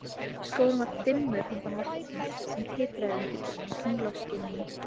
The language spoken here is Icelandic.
Skógurinn var dimmur handan vatnsins, sem titraði undir tunglskininu.